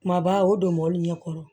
Kumaba o don mɔbili ɲɛ kɔrɔ